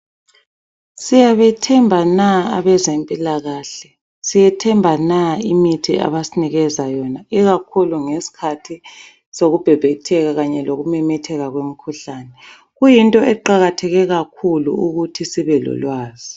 Siyabethemba na abezempilakahle. Siyethemba na imithi abasinikeza yona ikakhulu ngesikhathi sokubhebhetheka kanye lokumemetheka kwemikhuhlane. Kuyinto eqakatheke kakhulu ukuthi sibe lolwazi.